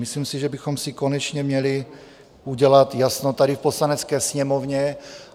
Myslím si, že bychom si konečně měli udělat jasno tady v Poslanecké sněmovně.